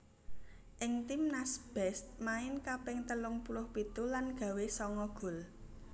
Ing timnas Best main kaping telung puluh pitu lan gawé sanga gol